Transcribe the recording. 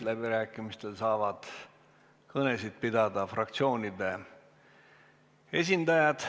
Läbirääkimistel saavad kõnesid pidada fraktsioonide esindajad.